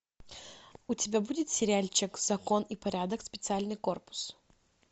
у тебя будет сериальчик закон и порядок специальный корпус